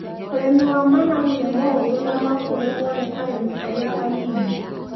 Ũrimi wa managu nĩ mũhũthũ na no ũrĩmwo nĩ arĩmi arĩa a nini.